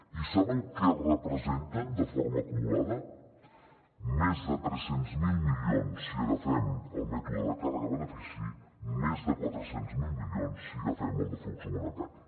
i saben què representen de forma acumulada més de tres cents miler milions si agafem el mètode de càrrega benefici més de quatre cents miler milions si agafem el de flux monetari